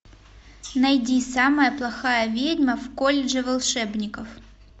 найди самая плохая ведьма в колледже волшебников